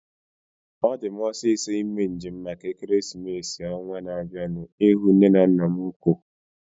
Ọ di m osisọ ime njem maka ekeresimesi ọnwaa na-abianu ihu nne na nna m ukwuu